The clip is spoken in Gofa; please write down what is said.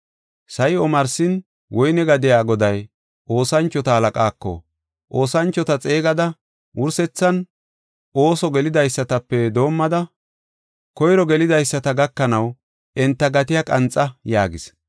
“Sa7i omarsin, woyne gadiya goday oosanchota halaqaako, ‘Oosanchota xeegada wursethan ooso gelidaysatape doomada koyro gelidaysata gakanaw enta gatiya qanxa’ yaagis.